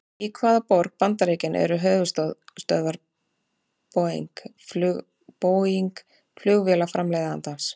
Í hvaða borg bandaríkjanna eru höfuðstöðvar Boeing flugvélaframleiðandans?